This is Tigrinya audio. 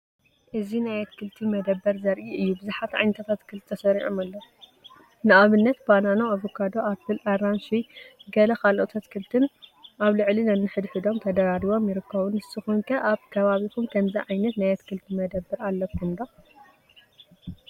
እዚ ናይ ኣትክልቲ መደብር ዘርኢ እዩ። ብዙሓት ዓይነታት ኣትከልቲ ተሰሪዖም ኣለዉ፡ ንኣብነት ባናና፡ ኣቮካዶ፡ ኣፕል፡ ኣራንሺ፡ ገለ ካልኦት ኣትክልቲን ኣብ ልዕሊ ነንሕድሕዶም ተደራሪቦም ይርከቡ። ንስኩም ከ ኣብ ከባቢኩም ከምዚ ዓይነት ናይ ኣትክልቲ መደብር ኣለኩም ዶ?